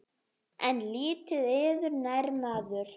En lítið yður nær maður.